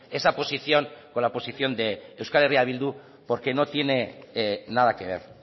esa posición con la posición de euskal herria bildu porque no tiene nada que ver